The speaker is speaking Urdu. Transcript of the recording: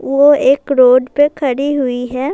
وو ایک روڈ پی کھدی ہوئی ہے۔